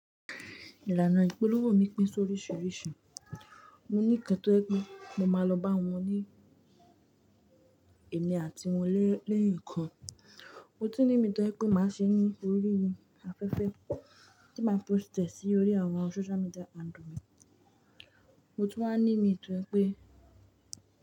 Ìlànà ìpolówó mi pín sóríṣiríṣi. Mo ní kan tọ́ jẹ pé mo máa lọ bá wọn ní èmi àti wọn lẹ́yan kan. Mo tún ní mí tó jẹ pé màá ṣe ní orí afẹ́fẹ́ tí màá post ẹ̀ sí orí àwọn social media handle mi. Mo tún wà ní mí tó jẹ pé.